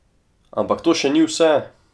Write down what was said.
Ampak to še ni vse!